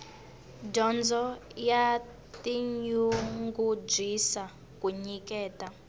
dyondzo ya tinyungubyisa ku nyiketa